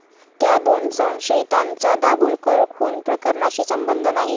त्या' दोन संशयितांचा दाभोलकर खून प्रकरणाशी संबंध नाही!